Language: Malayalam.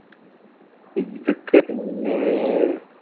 ഇതൊക്കെ പിന്നേ